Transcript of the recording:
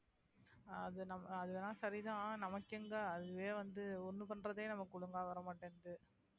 அது நம்ம அதுவேனா சரிதான் நமக்கு எங்க அதுவே வந்து ஒண்ணு பண்றதே நமக்கு ஒழுங்கா வர மாட்டேங்குது